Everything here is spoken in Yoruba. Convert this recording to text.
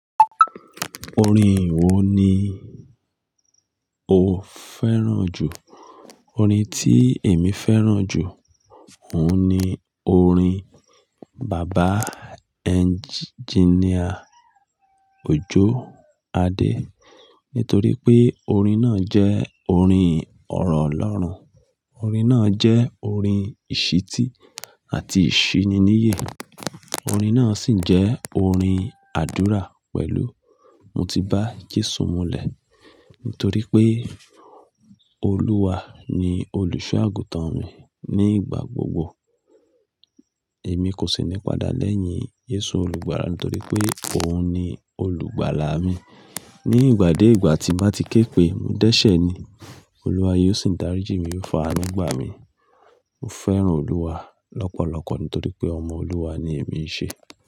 Orin wo ni o fẹ́ràn jù? Orin tí èmi fẹ́ràn jù, òun ni orin Bàbá Engineer Òjó Adé. Nítorí pé orin náà jẹ́ orin ọ̀rọ̀ Olọ́run. Orin náà jẹ́ orin ìṣítí àti ìṣíníniye. Orin náà sì jẹ́ orin àdúrà pẹ̀lú "Mo ti bá Jésù múlẹ̀." Nítorí pé Olúwa ni olùṣọ́-àgùntàn mi nígbà gbogbo. Èmi kò sí ní padà lẹ́yìn Jésù Olùgbàlà nítorí pé òun ni olùgbàlà mi. Ní ìgbà dé ìgbà tí bá ti ké pe, mo dẹ́ṣẹ̀ ni, Olúwa yóò sì dáríji mi, yóò faa'nu gba mi. Mo fẹ́ràn Olúwa lọ́pọ̀lọpọ̀ nítorí pé ọmọ Olúwa ni èmi ṣe.